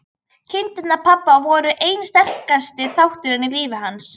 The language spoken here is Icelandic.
Kindurnar hans pabba voru einn sterkasti þátturinn í lífi hans.